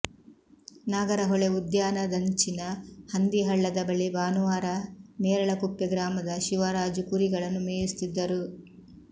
ನಾಗರಹೊಳೆ ಉದ್ಯಾನದಂಚಿನ ಹಂದಿಹಳ್ಳದ ಬಳಿ ಭಾನುವಾರ ನೇರಳಕುಪ್ಪೆ ಗ್ರಾಮದ ಶಿವರಾಜು ಕುರಿಗಳನ್ನು ಮೇಯಿಸುತ್ತಿದ್ದರು